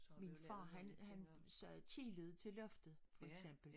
Min far han han sagde tijllet til loftet for eksempel